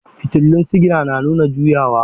Fitulun sigina na nuna juyawa.